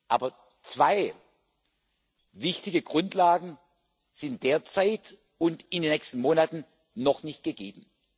Aber zwei wichtige Grundlagen sind derzeit und in den nächsten Monaten noch nicht gegeben.